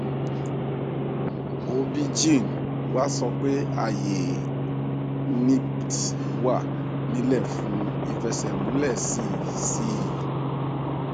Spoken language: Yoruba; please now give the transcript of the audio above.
obgyn wa sọ pé ààyè nipt wà ńílẹ fún ìfẹsẹmúlẹ sí sí i